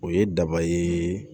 O ye daba ye